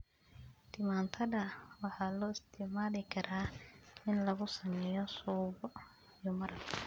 Tamaandhada waxaa loo isticmaali karaa in lagu sameeyo suugo iyo maraq.